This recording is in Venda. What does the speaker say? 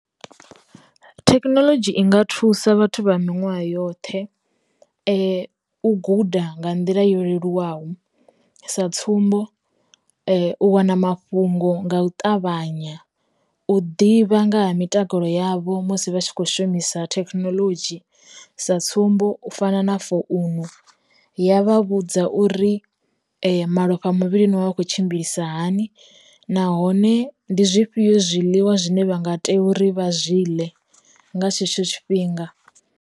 Thekinolodzhi i nga thusa vhathu vha miṅwaha yoṱhe, u guda nga nḓila yo leluwaho sa tsumbo, u wana mafhungo nga u ṱavhanya, u ḓivha nga ha mitakalo yavho musi vha tshi kho shumisa thekinoḽodzhi sa tsumbo, u fana na founu ya vha vhudza uri malofha muvhili no vha vha khou tshimbilisa hani, nahone ndi zwifhio zwiḽiwa zwine vha nga tea uri vha zwi ḽe nga tshetsho tshifhinga.